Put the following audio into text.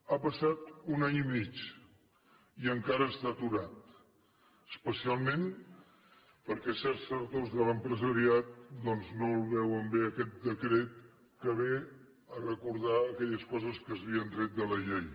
ha passat un any i mig i encara està aturat especialment perquè certs sectors de l’empresariat doncs no el veuen bé aquest decret que ve a recordar aquelles coses que s’havien tret de la llei